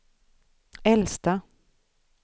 äldsta